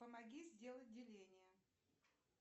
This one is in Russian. помоги сделать деление